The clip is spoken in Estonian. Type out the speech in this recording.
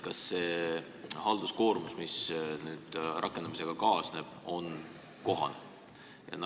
Kas see halduskoormus, mis rakendamisega kaasneb, on kohane?